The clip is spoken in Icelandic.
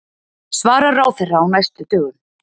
Svarar ráðherra á næstu dögum